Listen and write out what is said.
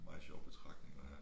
Meget sjov betragtning at have